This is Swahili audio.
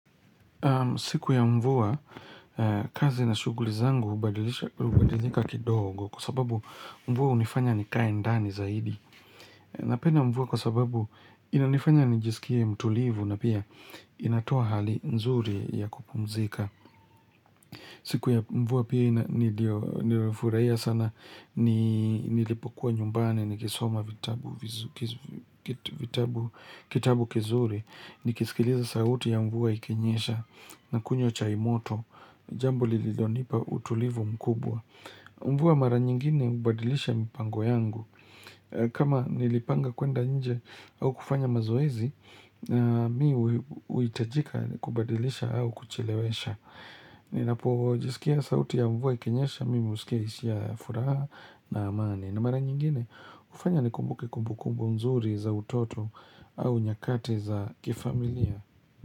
Siku ya mvua, kazi na shughuli zangu hubadilika kidogo kwa sababu mvua hunifanya nikae ndani zaidi. Napenda mvua kwa sababu inanifanya nijisikie mtulivu na pia, inatoa hali nzuri ya kupumzika. Siku ya mvua pia niliyofurahia sana, ni nilipokuwa nyumbani nikisoma kitabu kizuri, nikisikiliza sauti ya mvua ikinyesha nakunywa chai moto, jambo lililonipa utulivu mkubwa. Mvua mara nyingine hubadilisha mipango yangu. Kama nilipanga kuenda nje au kufanya mazoezi, na mimi huitajika kubadilisha au kuchelewesha. Ninapojisikia sauti ya mvua ikinyesha, mimi husikia hisia ya furaha na amani. Na mara nyingine, hufanya nikumbuke kumbukumbu nzuri za utoto au nyakati za kifamilia.